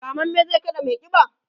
rammamme zai kada maiƙiba?